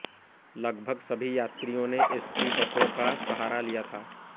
लगभग सभी यात्रियों ने एस टी बसों का सहारा लिया था